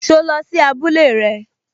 So lọ sí abúlé rẹ?